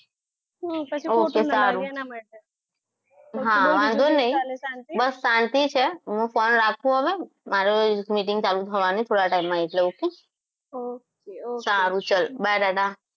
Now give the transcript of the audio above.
હા ok સારું હા વાંધો નહીં વન્ધો નઈ શાંતિ છે હા આ શાંતિ છે મારી meeting ચાલુ થવાની થોડા time માં એટલે ઓકે